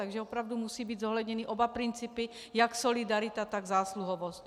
Takže opravdu musí být zohledněny oba principy, jak solidarita, tak zásluhovost.